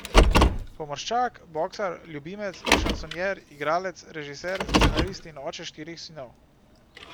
Pomorščak, boksar, ljubimec, šansonjer, igralec, režiser, scenarist in oče štirih sinov.